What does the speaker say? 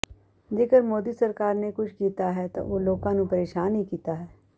ਜੇਕਰ ਮੋਦੀ ਸਰਕਾਰ ਨੇ ਕੁਝ ਕੀਤਾ ਹੈ ਤਾਂ ਉਹ ਲੋਕਾਂ ਨੂੰ ਪ੍ਰੇਸ਼ਾਨ ਹੀ ਕੀਤਾ ਹੈ